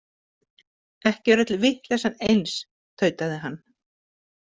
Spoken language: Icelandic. Ekki er öll vitleysan eins, tautaði hann.